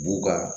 B'u ka